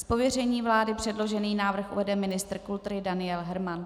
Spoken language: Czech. Z pověření vlády předložený návrh uvede ministr kultury Daniel Herman.